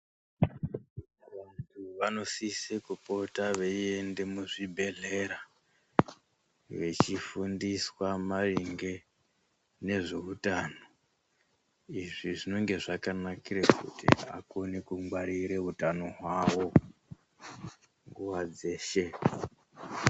Vantu vanosise kupota veinde muzvibhedhlera vechifundiswa maringe nezveutano izvi zvinenge zvakanakire kuti akone kungwarire utano hwawo nguwa dzeshe.